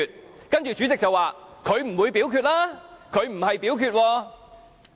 我知道主席接着會說，他不會表決，他沒有表決。